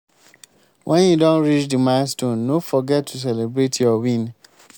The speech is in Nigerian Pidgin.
when you don reach di milestone no forget to celebrate your win